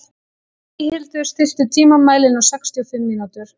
Eyhildur, stilltu tímamælinn á sextíu og fimm mínútur.